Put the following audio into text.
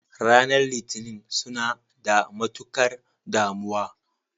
Ranar litinin suna da matukar damuwa.